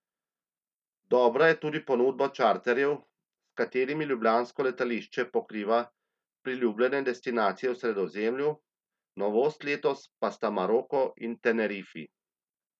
Dobra je tudi ponudba čarterjev, s katerimi ljubljansko letališče pokriva priljubljene destinacije v Sredozemlju, novost letos pa sta Maroko in Tenerifi.